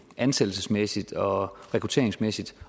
ansættelsesmæssigt og rekrutteringsmæssigt